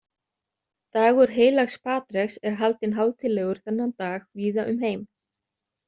Dagur heilags Patreks er haldinn hátíðlegur þennan dag víða um heim.